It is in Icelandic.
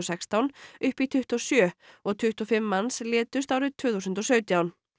sextán upp í tuttugu og sjö og tuttugu og fimm manns létust árið tvö þúsund og sautján